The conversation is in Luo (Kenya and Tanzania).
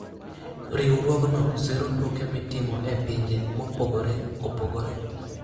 Riwruogno siro tuke mitimo e pinje mopogore opogore.